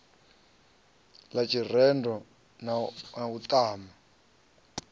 ḽa tshirendo na u ṱana